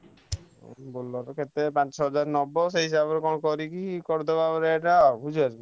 Bolero କରିଦେଲେ ପାଞ୍ଚ ଛଅ ହଜାର ଖଣ୍ଡେ ନବ ସେଇ ହିସାବରେ କଣ କରିକି କରିଦବ ବୋଲେରୋ ଟା।